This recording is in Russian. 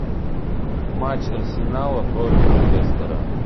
матч арсенала против лестера